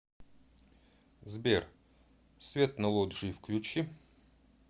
сбер свет на лоджии включи